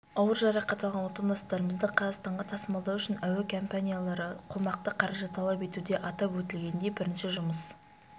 ауыр жарақат алған отандастарымызды қазақстанға тасымалдау үшін әуекомпаниялары қомақты қаражат талап етуде атап өтілгендей бірінші жұмыс